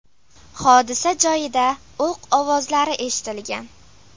Hodisa joyida o‘q ovozlari eshitilgan.